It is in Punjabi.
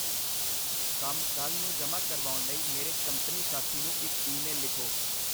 ਕੰਮ ਕੱਲ੍ਹ ਨੂੰ ਜਮ੍ਹਾ ਕਰਵਾਉਣ ਲਈ ਮੇਰੇ ਕੰਪਨੀ ਸਾਥੀ ਨੂੰ ਇੱਕ ਈਮੇਲ ਲਿਖੋ।